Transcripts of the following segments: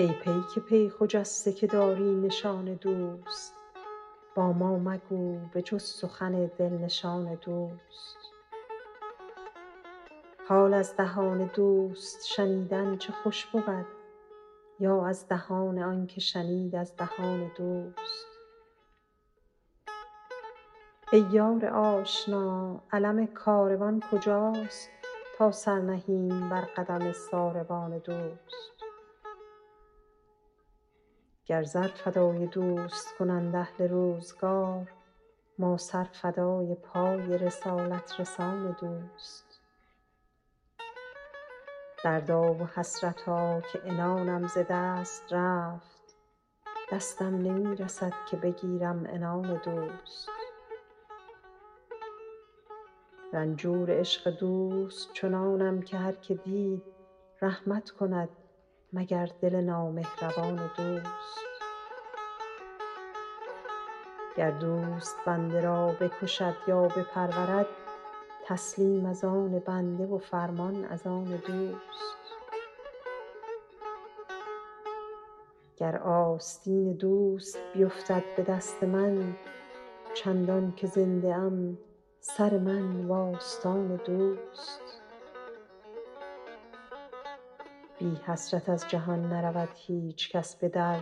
ای پیک پی خجسته که داری نشان دوست با ما مگو به جز سخن دل نشان دوست حال از دهان دوست شنیدن چه خوش بود یا از دهان آن که شنید از دهان دوست ای یار آشنا علم کاروان کجاست تا سر نهیم بر قدم ساربان دوست گر زر فدای دوست کنند اهل روزگار ما سر فدای پای رسالت رسان دوست دردا و حسرتا که عنانم ز دست رفت دستم نمی رسد که بگیرم عنان دوست رنجور عشق دوست چنانم که هر که دید رحمت کند مگر دل نامهربان دوست گر دوست بنده را بکشد یا بپرورد تسلیم از آن بنده و فرمان از آن دوست گر آستین دوست بیفتد به دست من چندان که زنده ام سر من و آستان دوست بی حسرت از جهان نرود هیچ کس به در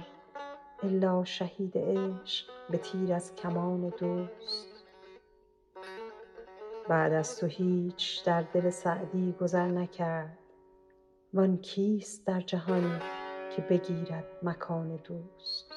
الا شهید عشق به تیر از کمان دوست بعد از تو هیچ در دل سعدی گذر نکرد وآن کیست در جهان که بگیرد مکان دوست